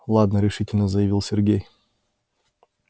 ладно решительно заявил сергей